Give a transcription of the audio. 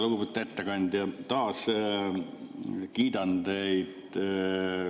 Lugupeetud ettekandja, taas kiidan teid.